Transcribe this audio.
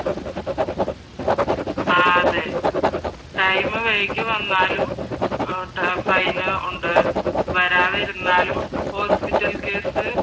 ആഹ് അതെ ടൈം വൈകിവന്നാലും ഫൈൻ ഉണ്ട്. വരാതിരുന്നാലും ഹോസ്പിറ്റൽ കേസ്